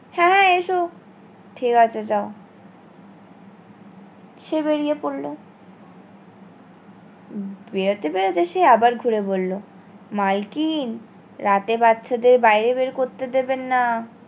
হ্যাঁ এসো ঠিক আছে যাও সে বেরিয়ে পড়লো বেরাতে বেরাতে সে আবার ঘুরে বললো মালকিন রাতে বাচ্চাদের বাইরে বের করেত দেবেন না